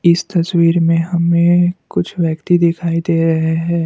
इस तस्वीर में हमें कुछ व्यक्ति दिखाई दे रहे हैं।